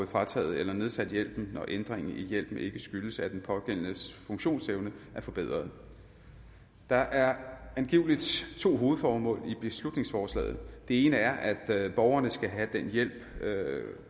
frataget eller nedsat hjælp og hvor ændringen i hjælpen ikke skyldes at den pågældendes funktionsevne er forbedret der er angiveligt to hovedformål med beslutningsforslaget det ene er at borgerne skal have den hjælp